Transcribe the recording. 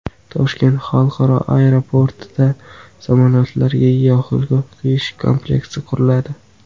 Toshkent xalqaro aeroportida samolyotlarga yoqilg‘i quyish kompleksi quriladi.